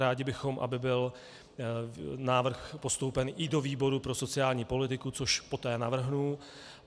Rádi bychom, aby byl návrh postoupen i do výboru pro sociální politiku, což poté navrhnu.